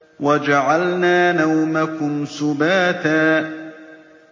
وَجَعَلْنَا نَوْمَكُمْ سُبَاتًا